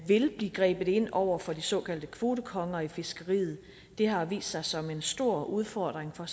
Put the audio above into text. vil blive grebet ind over for de såkaldte kvotekonger i fiskeriet det har vist sig som en stor udfordring for